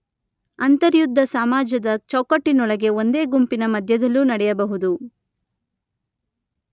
ಅಂತರ್ಯುದ್ಧ ಸಮಾಜದ ಚೌಕಟ್ಟಿನೊಳಗೆ ಒಂದೇ ಗುಂಪಿನ ಮಧ್ಯದಲ್ಲೂ ನಡೆಯಬಹುದು.